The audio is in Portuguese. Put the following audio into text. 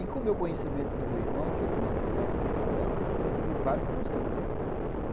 E com o meu conhecimento do meu irmão, que também na época tinha salão, a gente conseguiu vários patrocínios, né.